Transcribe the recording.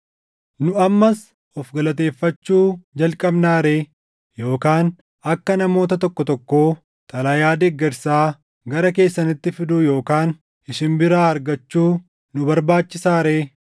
Nu ammas of galateeffachuu jalqabnaa ree? Yookaan akka namoota tokko tokkoo xalayaa deeggarsaa gara keessanitti fiduu yookaan isin biraa argachuu nu barbaachisaa ree?